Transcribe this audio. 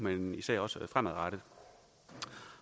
men især også fremadrettet